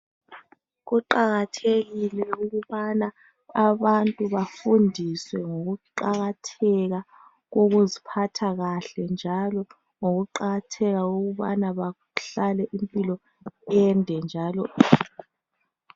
Kuqakathekile ukubana abantu bafundiswe ngokuqakatheka kokuziphatha kahle .Njalo ngokuqakatheka kokubana bahlale impilo ende njalo.